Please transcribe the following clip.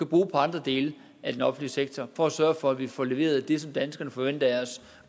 bruge på andre dele af den offentlige sektor for at sørge for at vi får leveret det som danskerne forventer af os